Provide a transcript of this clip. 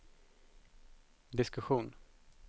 diskussion